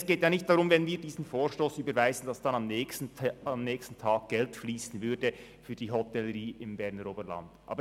Es geht nicht darum, dass bei Überweisung dieses Vorstosses am nächsten Tag Geld für die Hotellerie im Berner Oberland fliessen würde.